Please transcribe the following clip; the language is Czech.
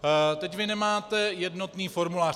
Teď vy nemáte jednotný formulář.